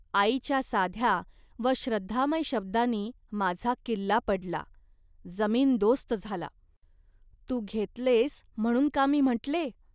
आईच्या साध्या व श्रद्धामय शब्दांनी माझा किल्ला पडला, जमीनदोस्त झाला. तू घेतलेस म्हणून का मी म्हटले